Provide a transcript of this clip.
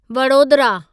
Vadodara